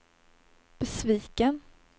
besviken